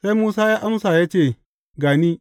Sai Musa ya amsa ya ce, Ga ni.